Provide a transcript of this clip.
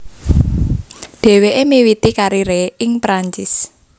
Dheweke miwiti karire ing Perancis